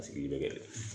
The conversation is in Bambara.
A sigi bɛ kɛ de